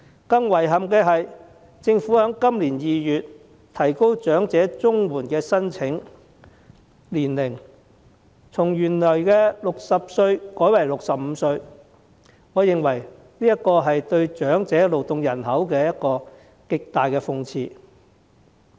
更遺憾的是，政府在今年2月提高長者綜合社會保障援助的申請年齡，從原來的60歲改為65歲，我認為這是對長者勞動人口的極大諷刺。